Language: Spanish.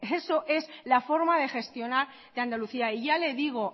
eso es la forma de gestionar de andalucía y ya le digo